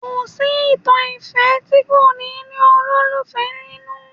Kò sí ìtàn ìfẹ́ tí kò ní ní olólùfẹ́ nínú